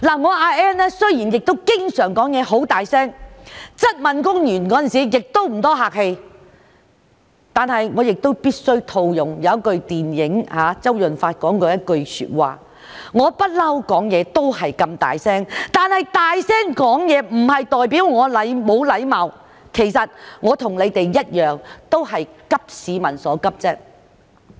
我阿 Ann 雖然經常說話聲音很大，質問官員的時候亦不太客氣，但我必須套用周潤發在一套電影中說過的一句話："我一向說話都是這麼大聲，但大聲說話不代表我沒有禮貌"，其實我與他們一樣都是急市民所急。